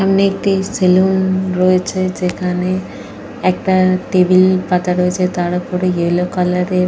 সামনে একটি সেলুন রয়েছে যেখানে একটা টেবিল পাতা রয়েছে। তার ওপরে ইয়েলো কালার এর।